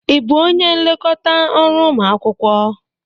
Ị bụ onye nlekọta ọrụ ụmụ akwụkwọ?